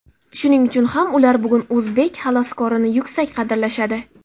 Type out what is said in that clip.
Shuning uchun ham ular bugun o‘zbek xaloskorini yuksak qadrlashadi.